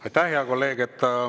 Aitäh, hea kolleeg!